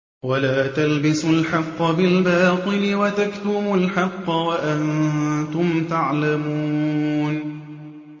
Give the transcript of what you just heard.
وَلَا تَلْبِسُوا الْحَقَّ بِالْبَاطِلِ وَتَكْتُمُوا الْحَقَّ وَأَنتُمْ تَعْلَمُونَ